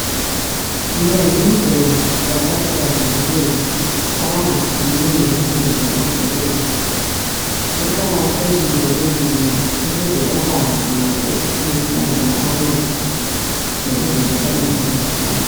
Longumgwembe wabakhubazekileyo abangakhulumiyo labangezwa endlebeni, luqakathekile lolulimi ukuze bakwazi labo ukukhulumisana labanye lokuzethula emphakathini.